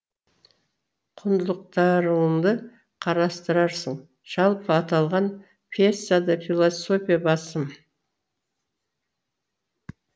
құндылықтарыңды қарастырасың жалпы аталған пьесада философия басым